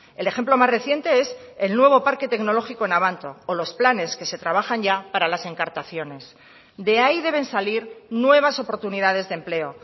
el ejemplo más reciente es el nuevo parque tecnológico en abanto o los planes que se trabajan ya para las encartaciones de ahí deben salir nuevas oportunidades de empleo